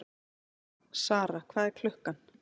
Sara, hvað er klukkan?